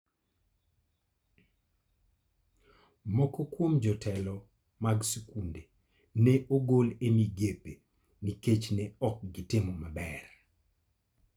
Moko kuom jotelo mag skunde ne ogol e migepe nikech ne ok gitimo maber.